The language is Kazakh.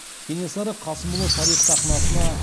кенесары қасымұлы тарих сахнасына